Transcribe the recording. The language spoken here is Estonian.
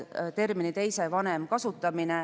Kuues muudatusettepanek selgitab annetatud embrüo kasutamist.